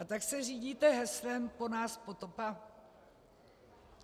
A tak se řídíte heslem po nás potopa?